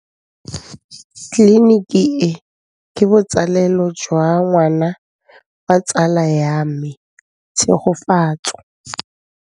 Tleliniki e, ke botsalêlô jwa ngwana wa tsala ya me Tshegofatso.